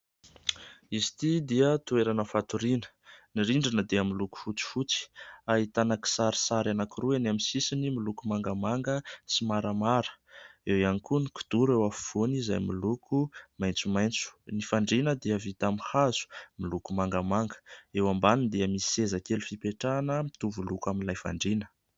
Izy ity dia toerana fatoriana, ny rindrina dia miloko fotsifotsy, ahitana kisarisary anankiroa eny amin'ny sisiny miloko mangamanga sy maramara; eo ihany koa ny kidoro eo afovoany izay miloko maitsomaitso. Ny fandriana dia vita amin'ny hazo miloko mangamanga, eo ambaniny dia misy seza kely fipetrahana, mitovy loko amin'ilay fandriana.